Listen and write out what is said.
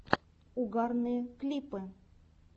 угарные клипы